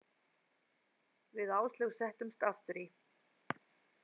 Við Áslaug settumst aftur í.